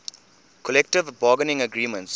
collective bargaining agreement